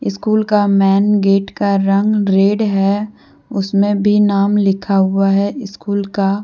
school का main gate का रंग रेड है उसमें भी नाम लिखा हुआ है स्कूल का --